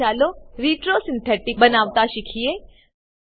હવે ચાલો retro synthetic બનાવતા શીખીએ